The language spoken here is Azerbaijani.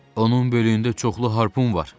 Onun belində çoxlu harpun var.